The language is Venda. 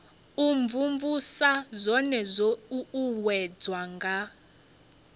imvumvusa zwone zwo uuwedzwa nga